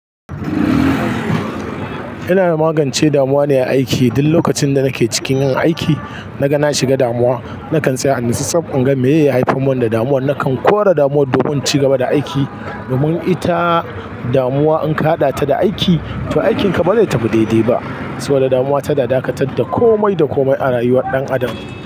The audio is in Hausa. Yana magance damuwa ne aiki. Duk lokacin da nake cikin yin aiki na ga na shiga damuwa, na kan tsaya a nan saboda in ga me ya haifi mun damuwa. Na kan kore damuwar domin cigaba da aiki. Domin ita damuwa in ka haɗa ta da aiki, to aikinka ba zai tafi daidai ba. Tuh damuwa tana dakatar da komai da komai a rayuwar dan adam.